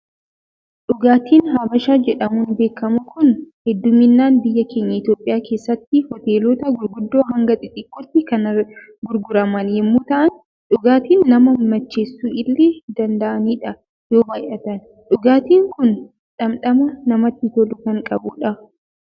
Dhugaatiin habashaa jedhamuun beekamu Kun, hedduminaan biyya keenya Itoophiyaa keessatti, hoteelota gurguddo hanga xixiqqootti kan gurguraman yemmuu ta'an, dhugaatii nama macheessuu illee danda'anidha yoo baayyatan. Dhugaatiin Kun dhamdhama namatti tolu kan qabudha.